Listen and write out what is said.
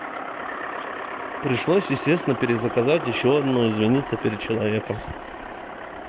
пришлось естественно перезаказать ещё одно извиниться перед человеком